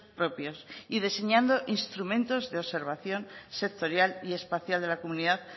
propios y diseñando instrumentos de observación sectorial y espacial de la comunidad